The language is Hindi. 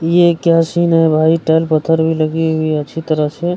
ये क्या सीन है भाई टाइल पत्थर भी लगी हुई है अच्छी तरह से।